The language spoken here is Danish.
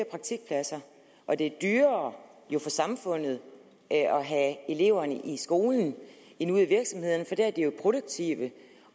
praktikpladser og det er dyrere for samfundet at have eleverne i skolen end ude i virksomhederne for der er de jo produktive